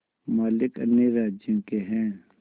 मालिक अन्य राज्यों के हैं